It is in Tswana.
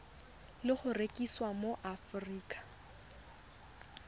le go rekisiwa mo aforika